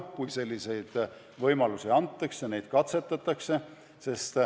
Kui selliseid võimalusi antakse, siis neid ka katsetatakse.